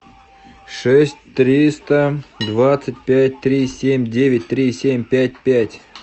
шесть триста двадцать пять три семь девять три семь пять пять